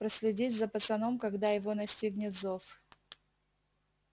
проследить за пацаном когда его настигнет зов